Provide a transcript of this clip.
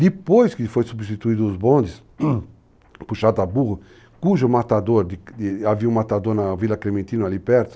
Depois que foram substituídos os bondes, puxado a burro, cujo matador, de de , havia um matador na Vila Clementino, ali perto,